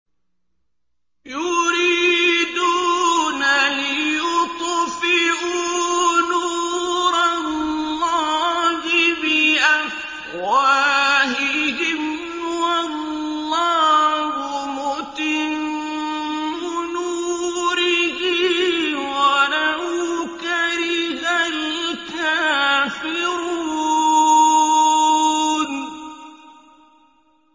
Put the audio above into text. يُرِيدُونَ لِيُطْفِئُوا نُورَ اللَّهِ بِأَفْوَاهِهِمْ وَاللَّهُ مُتِمُّ نُورِهِ وَلَوْ كَرِهَ الْكَافِرُونَ